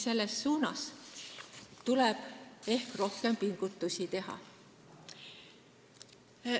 Selles suunas tuleb ehk rohkem pingutusi teha.